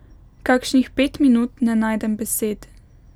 Kakšnih pet minut ne najdem besed.